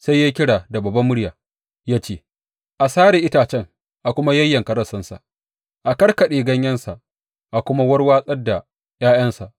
Sai ya yi kira da babbar murya ya ce, A sare itacen a kuma yayyanka rassansa; a karkaɗe ganyensa a kuma warwatsar da ’ya’yansa.